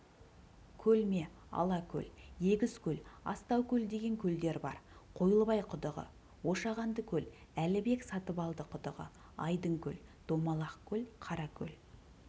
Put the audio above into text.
көлме-алакөл егізкөл астаукөл деген көлдер бар қойлыбай құдығы ошағандыкөл әлібек сатыбалды құдығы айдынкөл домалақ көл қаракөл